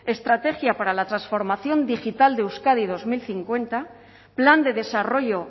estrategia para la transformación digital de euskadi dos mil cincuenta plan de desarrollo